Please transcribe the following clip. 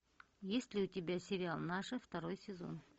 есть ли у тебя сериал наши второй сезон